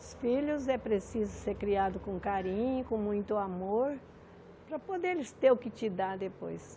Os filhos é preciso ser criado com carinho, com muito amor, para poder eles terem o que te dar depois.